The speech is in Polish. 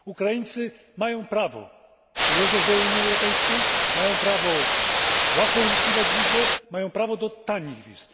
Ukraińcy mają prawo przyjeżdżać do Unii Europejskiej, mają prawo łatwo uzyskiwać wizę, mają prawo do tanich wiz.